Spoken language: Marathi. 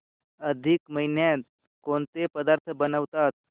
अधिक महिन्यात कोणते पदार्थ बनवतात